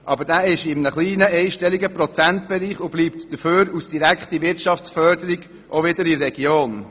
Aber dieser bewegt sich in einem kleinen einstelligen Prozentbereich und bleibt dafür als direkte Wirtschaftsförderung in der Region.